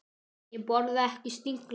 Ég borða ekki snigla.